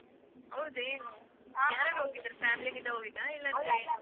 ಹೌದೇನು ಯಾರ್ ಯಾರ್ ಹೋಗಿದ್ದು family ಜೊತೆ ಹೋಗಿದ್ದ